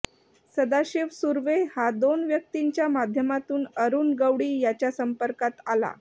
सदाशिव सुरवे हा दोन व्यक्तींच्या माध्यमातून अरुण गवळी याच्या संपर्कात आला